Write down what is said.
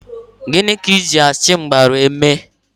Gịnị ka Ị ji achịmgbara eme?